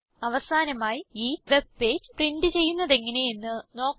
അവസാനമായി ഈ web page print ചെയ്യുന്നതെങ്ങനെ എന്ന് നോക്കാം